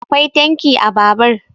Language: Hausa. akwai tanki a Babur